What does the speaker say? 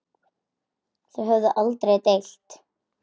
Þau höfðu aldrei deilt.